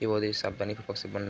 ये बोहोत ही सावधानी --